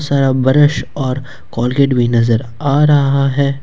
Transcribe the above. Brush और Colgate भी नजर आ रहा है।